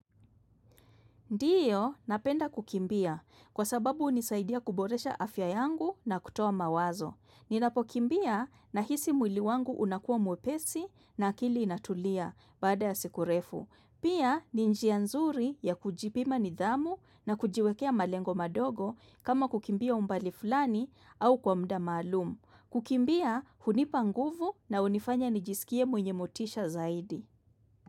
Ndiyo napenda kukimbia kwasababu unisaidia kuboresha afya yangu na kutoa mawazo. Ninapokimbia nahisi mwili wangu unakuwa mwepesi na akili inatulia baada ya siku refu. Pia ni njia nzuri ya kujipima nidhamu na kujiwekea malengo madogo kama kukimbia umbali fulani au kwa muda maalum. Kukimbia hunipa nguvu na unifanya nijisikie mwenye motisha zaidi.